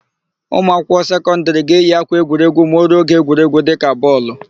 Ụmụakwụkwọ sekọndịrị ga-eyi ákwà egwuregwu ma o ruo oge égwú dịka bọọlụ.